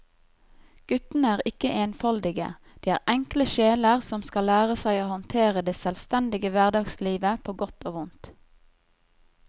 Guttene er ikke enfoldige, de er enkle sjeler som skal lære seg å håndtere det selvstendige hverdagslivet på godt og vondt.